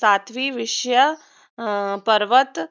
सातवी विषय अं पर्वत